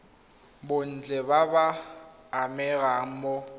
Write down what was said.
botlhe ba ba amegang mo